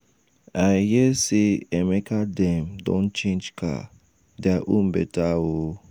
i hear say emeka dem don change car their own beta oo.